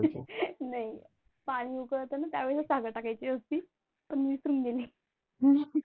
नाही पाणी उकळताना त्यावेळेला साखर टाकायची असते पण मी विसरून गेली.